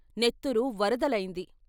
నెత్తురు వరదలైంది.